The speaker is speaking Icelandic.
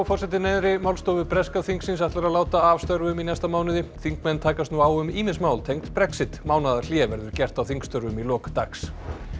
forseti neðri málstofu breska þingsins ætlar að láta af störfum í næsta mánuði þingmenn takast nú á um ýmis mál tengd Brexit mánaðarhlé verður gert á þingstörfum í lok dags